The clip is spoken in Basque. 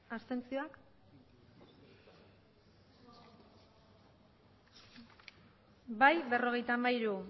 abstentzioak bai berrogeita hamairu